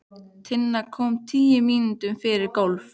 Tinna kom tíu mínútur yfir tólf.